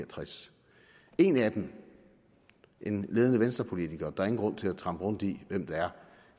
tres en af dem en ledende venstrepolitiker der er ingen grund til at trampe rundt i hvem det er